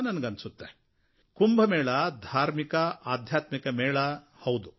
ನನಗನ್ನಿಸುತ್ತೆ ಕುಂಭಮೇಳ ಧಾರ್ಮಿಕ ಆಧ್ಯಾತ್ಮಿಕ ಮೇಳ ಹೌದು